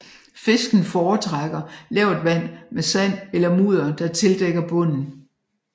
Fisken fortrækker lavt vand med sand eller mudder der tildækker bunden